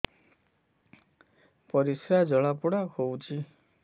ପରିସ୍ରା ଜଳାପୋଡା ହଉଛି